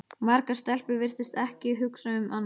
Margar stelpur virtust ekki hugsa um annað.